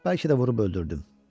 Bəlkə də vurub öldürdüm.